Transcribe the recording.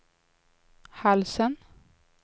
halsen